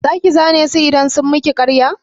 Za ki zane su idan sun miki ƙarya?